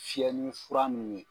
Fiyɛ ni fura mun ye